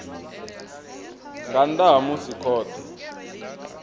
nga nnḓa ha musi khothe